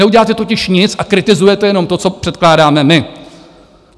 Neuděláte totiž nic a kritizujete jenom to, co předkládáme my.